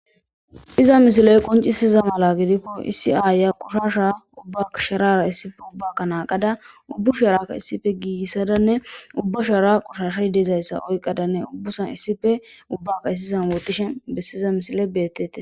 iza misiley qoncisiza mala gidikko iisiayya qushasha ubba sharara issife ubbaka naaqada ubbu sharaka issife giigissadanne ubba shara qushashadeezayssa oyqadanne ubbusan issife ubbaka issizan wootishe bessiza misile beettete